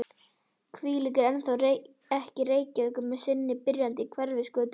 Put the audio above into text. Hvílík er þá ekki Reykjavík með sinni byrjandi Hverfisgötu og